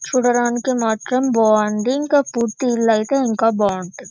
చూడడానికి మాత్రం బావుంది ఇంకా పూర్తి ఇల్లు అయితే ఇంకా బాగుంటది .